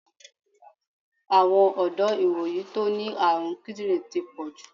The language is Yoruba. Àwọn ọ̀dọ́ ìwòyí tó ní àrùn kídírìn ti pọ̀jù.